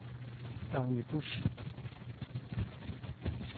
Dagny Busch